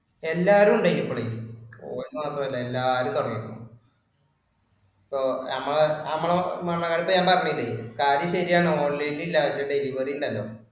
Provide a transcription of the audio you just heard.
എല്ലാരും ഉണ്ടേ ഇപ്പൊളെ phone മാത്രമല്ല എല്ലാരും സമ്മതിക്കും. ഇപ്പൊ നമ്മ നമ്മള് മണ്ണാർകാട്ട് ഞാൻ പറഞ്ഞില്ലേ കാര്യം ശരിയാ online ഇൽ ആ delivery ഉണ്ടല്ലോ